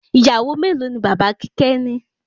Ìyàwó melo ni bàbá kíkẹ́ ni?